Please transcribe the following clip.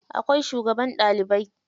Akwai shugaban ɗalibai.